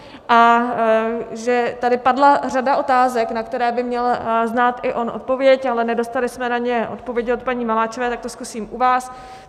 A že tady padla řada otázek, na které by měl znát i on odpověď, ale nedostali jsme na ně odpovědi od paní Maláčové, tak to zkusím u vás.